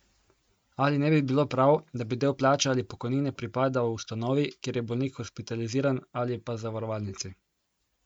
Ali ne bi bilo prav, da bi del plače ali pokojnine pripadal ustanovi, kjer je bolnik hospitaliziran, ali pa zavarovalnici?